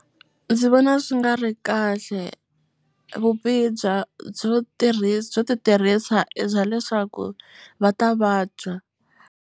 Ndzi vona swi nga ri kahle vubihi bya byo byo ti tirhisa i bya leswaku va ta vabya.